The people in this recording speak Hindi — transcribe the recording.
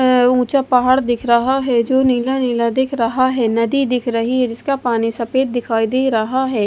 अह ऊंचा पहाड़ दिख रहा है जो नीला नीला दिख रहा है नदी दिख रही है जिसका पानी सफेद दिखाई दे रहा है।